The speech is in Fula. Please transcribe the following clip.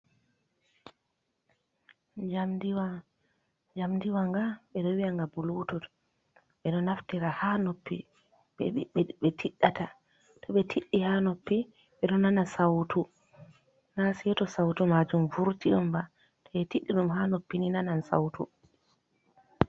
Jamdiwa, jamdiwanga ɓe ɗo wi'a nga bulutut ɓeɗo naftira ha noppi ɓe tiɗata to ɓe tidi ha noppi ɓedo nana sautu na seto sautu majum vurti omba to be tiddi ɗum ha noppi ni nanan sautu.